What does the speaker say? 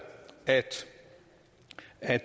at